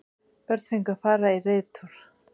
Börn fengu að fara í reiðtúr